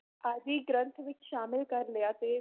ਆਦਿ ਗ੍ਰੰਥ ਵਿੱਚ ਸ਼ਾਮਿਲ ਕਰ ਲਿਆ ਤੇ